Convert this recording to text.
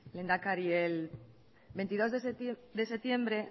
lehendakari el veintidós de septiembre